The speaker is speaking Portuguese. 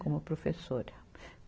Como professora.